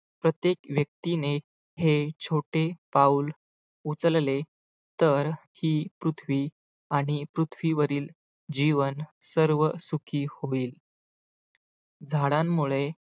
प्रत्येक व्यक्तीने हे छोटे पाऊल उचलले तर ही पृथ्वी आणि पृथ्वीवरील जीवन सर्व सुखी होईल झाडांमुळे